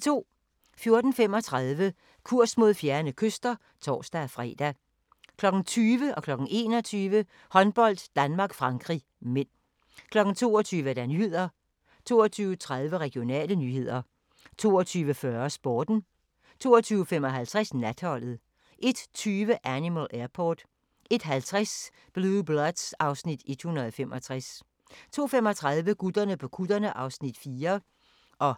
14:35: Kurs mod fjerne kyster (tor-fre) 20:00: Håndbold: Danmark-Frankrig (m) 21:00: Håndbold: Danmark-Frankrig (m) 22:00: Nyhederne 22:30: Regionale nyheder 22:40: Sporten 22:55: Natholdet 01:20: Animal Airport 01:50: Blue Bloods (Afs. 165) 02:35: Gutterne på kutterne (Afs. 4)